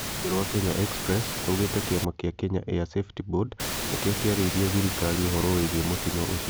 Rũhonge rwa Kenya Expressrugĩte "Kĩama kĩa Kenya Air Safety Board nĩkĩo kĩarĩirie thirikari ũhoro wĩgiĩ mũtino ũcio "